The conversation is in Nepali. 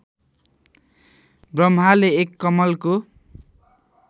ब्रम्हाले एक कमलको